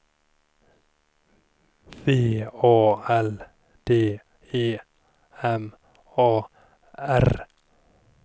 V A L D E M A R